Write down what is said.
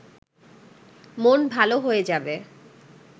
মন ভালো হয়ে যাবে